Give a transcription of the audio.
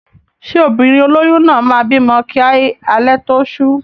Ṣé obìnrin olóyún náà máa bímọ kí alẹ́ tó ṣú?